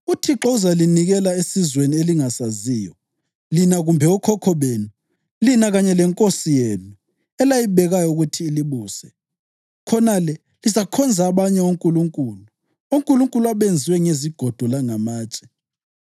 UThixo uzalinikela esizweni elingasaziyo lina kumbe okhokho benu, lina kanye lenkosi yenu elayibekayo ukuthi ilibuse. Khonale lizakhonza abanye onkulunkulu, onkulunkulu abenziwe ngezigodo langamatshe.